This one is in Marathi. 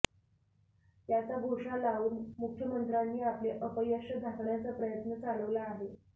याचा घोषा लावून मुख्यमंत्र्यांनी आपले अपयश झाकण्याचा प्रयत्न चालवला आहे